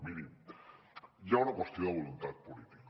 miri hi ha una qüestió de voluntat política